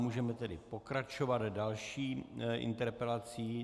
Můžeme tedy pokračovat další interpelací.